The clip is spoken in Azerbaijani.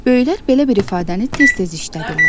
Böyüklər belə bir ifadəni tez-tez işlədirlər.